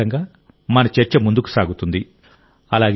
వాటి ఆధారంగా మన చర్చ ముందుకు సాగుతుంది